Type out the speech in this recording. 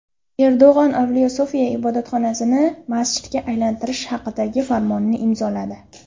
Erdo‘g‘on Avliyo Sofiya ibodatxonasini masjidga aylantirish haqidagi farmonni imzoladi.